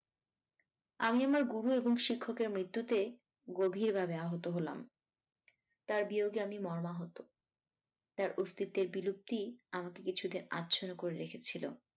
আমি আমর গুরু এবং শিক্ষকের মৃত্যুতে গভীর ভাবে আহত হলাম তার বিয়োগে আমি মর্মাহত তার অস্তিত্বের বিলুপ্তি আমাকে কিছুদিন আচ্ছন্ন করে রেখেছিল।